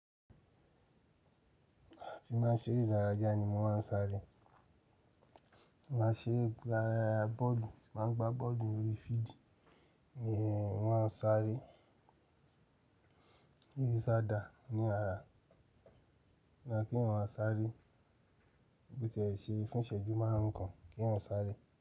Àti máa ń ṣeré ìdárayá ni mo máa ń sáré. Máa ń ṣeré bọ́ọ̀lù, máa ń gbá bọ́ọ̀lù orí fídì ni mo máa ń sáré. Kí sì sá dà ní ara ni kí ń máa sáré bó ti ẹ̀ ṣe fún ìṣẹ́jú márùn-ún kan kí ń máa sáré.